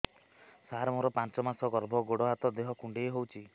ସାର ମୋର ପାଞ୍ଚ ମାସ ଗର୍ଭ ଗୋଡ ହାତ ଦେହ କୁଣ୍ଡେଇ ହେଉଛି